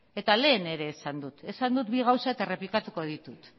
lehen ere esan dut esan dut gauza bi eta errepikatuko ditut